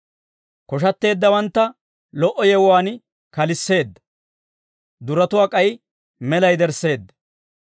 Koshatteeddawantta lo"o yewuwaan kalisseedda; duratuwaa k'ay mela yedersseedda.